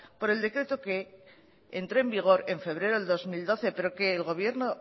por el decreto que entró en vigor en febrero del dos mil doce pero que el gobierno